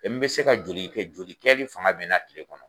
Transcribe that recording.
n bɛ se ka joli kɛ joli kɛli fanga bɛ n na kile kɔnɔ?